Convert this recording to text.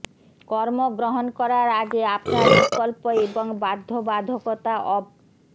কর্ম গ্রহণ করার আগে আপনার বিকল্প এবং বাধ্যবাধকতা অব